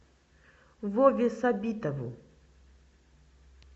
вове сабитову